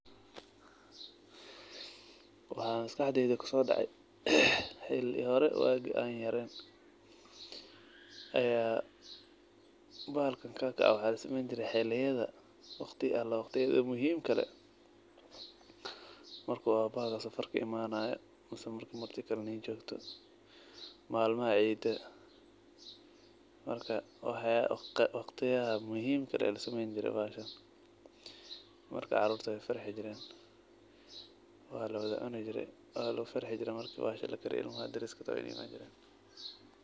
Waxaa maskaxeeyda kuso dhace ,xili hore waagi an yareen aya bahalkan kakac waxaa lasameeyn jire xiliyada waqti Allah waqtiga muhimka leh, marka waa bahal safar ka imanayo mise marki marti kale idin jogto, malmaha ciida, marka waqtiyaha muhimka aa lasameeyn jire bahasha, marka caruurta way farxi jiren, waa lawada cuni jire, waa lawada farxi jire marki bahasha lakariyo ilmaha dereski way imaan jireen